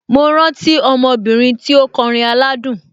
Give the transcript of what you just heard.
Mo rántí ọmọ obìnrin tí ó kọrin aládùn.